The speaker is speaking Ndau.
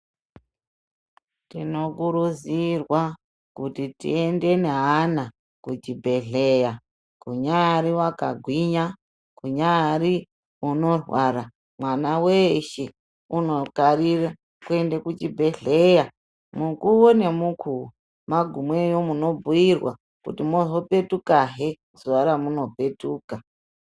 Tino kurudzirwa kuti tiende ne ana ku chibhedhleya kunyari waka gwinya kunyari vano rwara mwana weshe uno garira kuende ku chibhedhleya mukuwo ne mukuwo magumeyo muno bhuyirwa kuti mozo petuka hee zuva ramuno petuka.